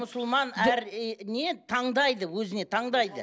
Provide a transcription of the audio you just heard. мұсылман әр не таңдайды өзіне таңдайды